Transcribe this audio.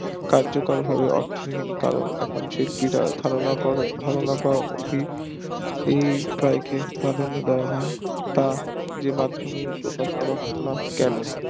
কার্যকর ভাবে অর্থহীন কারণ কারণ শিল্পীরা ধারণা করে ধারণা দাওয়া খুবই এই কারণে দাওয়া হয় দ্বারা যে মাদ্ধমে প্রকাশ করা হতো না কেন